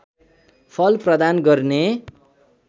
फल प्रदान गर्ने